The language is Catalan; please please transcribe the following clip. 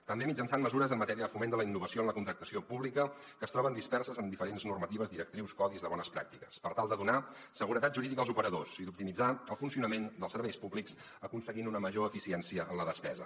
també mitjançant mesures en matèria de foment de la innovació en la contractació pública que es troben disperses en diferents normatives directrius codis de bones pràctiques per tal de donar seguretat jurídica als operadors i d’optimitzar el funcionament dels serveis públics aconseguint una major eficiència en la despesa